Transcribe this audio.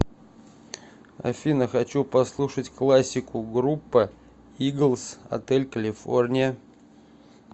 афина хочу послушать классику группа иглз отель калифорния